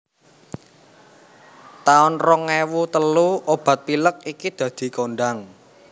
taun rong ewu telu obat pilek iki dadi kondhang